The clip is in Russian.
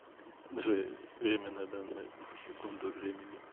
джой время на данную секунду времени